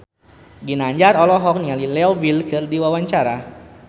Ginanjar olohok ningali Leo Bill keur diwawancara